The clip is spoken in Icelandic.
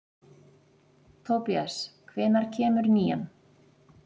Tobías, hvenær kemur nían?